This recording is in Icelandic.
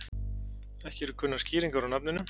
Ekki eru kunnar skýringar á nafninu.